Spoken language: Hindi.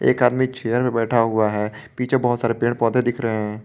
एक आदमी चेयर बैठा हुआ है पीछे बहोत सारे पेड़ पौधे दिख रहे हैं।